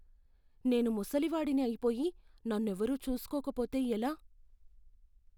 నేను ముసలి వాడిని అయిపోయి నన్నెవరూ చూసుకోక పోతే ఎలా?